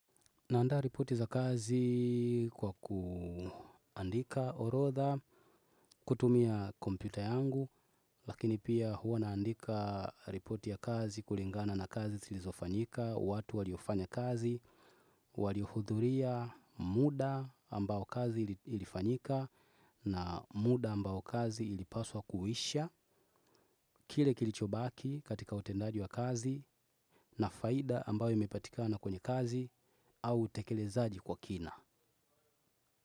Naanda ripoti za kazi kwa kuandika orotha, kutumia kompita yangu, lakini pia hua naandika ripoti ya kazi kulingana na kazi silizofanyika, watu waliofanya kazi, waliuhudhuria muda ambao kazi ilifanyika na muda ambao kazi ili paswa kuhisha. Kile kilichobaki katika utendaji wa kazi. Na faida ambayo imepatikana kwenye kazi au tekelezaji kwa kina.